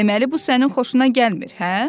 Deməli bu sənin xoşuna gəlmir, hə?